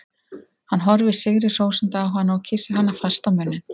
Hann horfir sigri hrósandi á hana og kyssir hana fast á munninn.